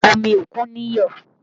Omi òkun níyọ̀